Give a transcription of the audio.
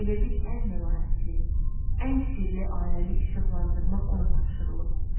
Elə bil ən məlahətli, ən sirli aləmi işıqlandırmaq ona tapşırılıb.